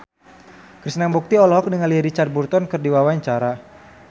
Krishna Mukti olohok ningali Richard Burton keur diwawancara